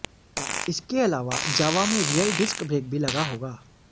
इसके अलावा जावा में रियर डिस्क ब्रेक भी लगा होगा